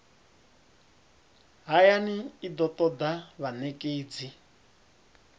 hayani i do toda vhanekedzi